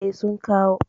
E, sun kawo.